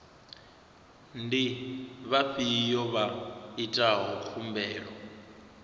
ndi vhafhiyo vha itaho khumbelo